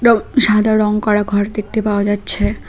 সাদা রং করা ঘর দেখতে পাওয়া যাচ্ছে।